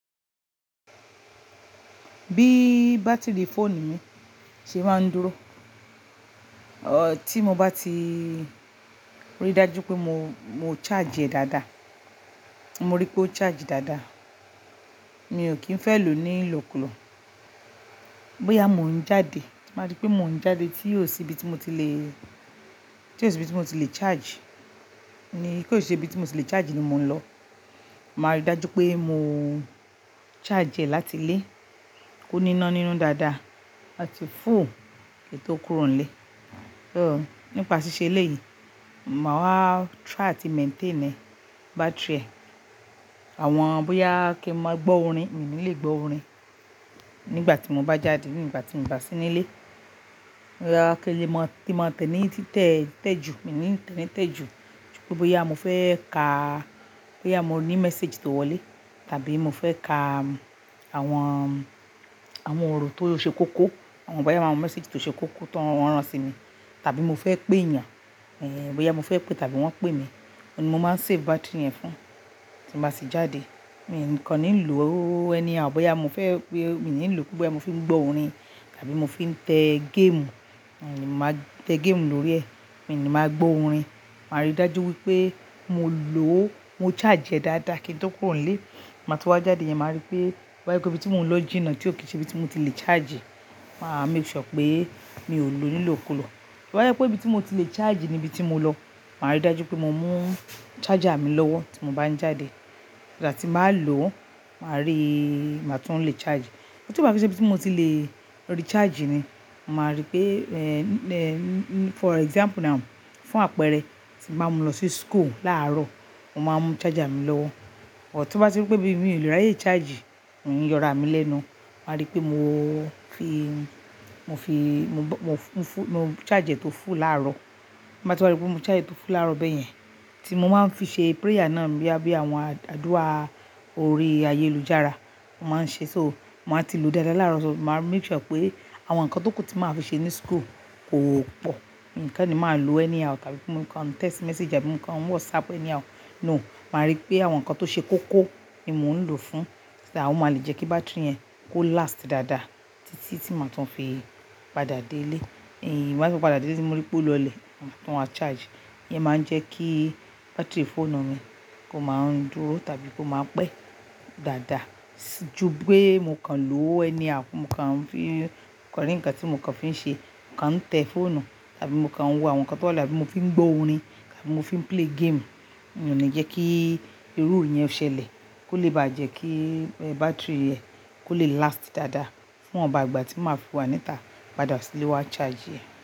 Bí bátìrì fóònù mi ṣe máa ń dúró, oh tí mo bá ti rí dájú pé mo, mo charge e dáadáa. Mo rí pé ó charge dáadáa. Mi ò kín fẹ́ lò ó ní ìlòkulò. Boya mò ń jáde, màá rí pé mò ń jáde tí oò sì ibi tí mo ti lè, tí kò sì ibi tí mo ti lè charge. Ni tí ó se ibi tí mo ti lè charge ni mò ń lọ. Màá rí dájú pé mo charge e láti lé, kó níná nínú dáadáa, aá ti full, kí n tò ó kúrò nilé. So, nípa ṣíṣe eleyí, màá wa try àti maintain e battery ẹ. Àwọn boya kí i máa gbọ́ orin, mí ní lè gbọ́ orin nígbà tí mò bá jáde nígbà tí mi oò bá sí nílé. Boya kí i lè máa tí màá tẹ́ ni títẹ́, tẹ́ ju, mí ní tẹ́ ni tẹ́ ju. Pe boya mò fẹ́ ka, boya mo ní message tó wọlé, tàbí mò fẹ́ ka àwọn, àwọn ọ̀rọ̀ tó ṣe kóko, àwọn boya àwọn message tó ṣe kóko tó rán sí mi, tàbí mò fẹ́ pé ènìyàn, eh boya mò fẹ́ pé tàbí wọ́n pè mí, oun ni mo máa save battery yẹn fún. Tí ba tì jáde, mí kò ní lò ó anyhow bọ́yá mò fẹ́ pé mí ní lò pe boya mò fi ń gbọ́ orin tàbí mò fi ń tẹ game. Mí ní màá tẹ game lórí ẹ, mí ní màá gbọ́ orin. Màá rí dájú wípé mo lò ó, mo charge e dáadáa kí n tó kúrò nilé. Màá tun wá jáde yẹn, màá rí pé boya pe ibi tí mò ń lọ jìnnà tí ò kí í ṣe ibi tí mo ti lè charge. Màá make sure pé mi ò lò ó ní ìlòkulò. To ba je pé ibi tí mo ti lè charge ni ibi tí mo lọ, màá rí dájú pé mò mú charger mi lọ́wọ́ tí mò bá ń jáde. So that ti bá lò ó, màá rí, màá tún lè charge. But ti oo bá ti ṣe ibí tí mò ti lè recharge e ni, màá rí pé, eh, eh, for example now, fún àpẹẹrẹ tí bàá mú lọ sí school láàárọ̀, mò máa mú charger mi lọ́wọ́. But ti bá ti rí pé bí mi ò lè ráyè charge, mi ò ní yọra mi lẹ́nu. Màá rí pé mo fi, mo fi, mo fún, fún, mo charge e tó full láàárọ̀. Bi mo ba ti wa rí pé mo charge e tó full láàárọ̀ bẹ́ẹ̀ yẹn, tí mò máa ń fi ṣe prayer náà boya bí àwọn àdúrà orí ayélujára, mò máa ń ṣe. So, màá ti lò ó dáadáa láàárọ̀, so màá make sure pé àwọn nǹkan tó kù tí màá fi ṣe ní school kò pọ̀. Nǹkan ni màá lò ó anyhow tàbí kí mò ń kan text message, àbí mò ń kan WhatsApp anyhow. No, màá rí pé àwọn nǹkan tó ṣe kóko ni mò ń lò fún. So that oo máa le jẹ́ kí battery yẹn kó last dáadáa títí tí màá tún fi padà dé ilé. Eh, màá fi padà dé ile ti mó rí pé o lọlẹ̀, ma tun wa charge. Íyẹn máa ń jẹ́ kí battery fóònù mi kó máa ń dúró tàbí kó máa pẹ́ dáadáa ju pe mò kàn lò ó anyhow, mò kàn ń fi kọní ǹkan tí mò kàn fi ń ṣe, mò kàn ń tẹ phone tàbí mò kàn ń wo àwọn nǹkan tó wà àbí mò fi ń gbọ́ orin tàbí mò fi ń play game. Mi oo ni ń jẹ́ kí irú yìí ó ṣẹlẹ̀ kó lè bà jẹ́ kí battery ẹ kó lè last dáadáa fún iwonba ìgbà tí màá fi wá níta padà sílé wa charge ẹ.